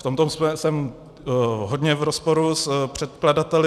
V tomto jsem hodně v rozporu s předkladateli.